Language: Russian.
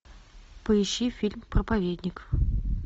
поищи фильм проповедник